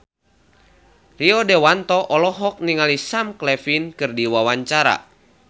Rio Dewanto olohok ningali Sam Claflin keur diwawancara